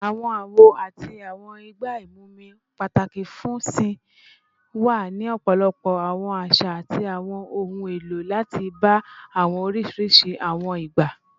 Awọn awo ati awọn igba imumi, pataki fun sìn, wa ni ọpọlọpọ awọn aṣa ati awọn ohun elo lati ba awọn oriṣiriṣi awọn igba